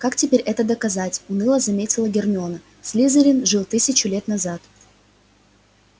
как теперь это доказать уныло заметила гермиона слизерин жил тысячу лет назад